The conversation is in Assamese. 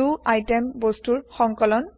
দ আইটেম বস্তুৰ সংকলন